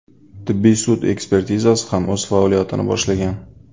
Tibbiy sud ekspertizasi ham o‘z faoliyatini boshlagan.